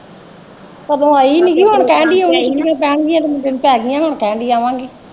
ਸਗੋਂ ਆਈ ਨਈਂ ਗੀ ਹੁਣ ਕਾਲੀਆਂ ਰਾਤਾਂ ਲਈ ਆਵਾਂਗੇ।